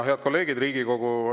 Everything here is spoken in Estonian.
Head kolleegid!